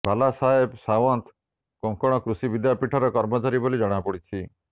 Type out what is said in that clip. ବାଲାସାହେବ ସାୱନ୍ତ କୋଙ୍କଣ କୃଷି ବିଦ୍ୟାପୀଠର କର୍ମଚାରୀ ବୋଲି ଜଣାପଡ଼ିଛି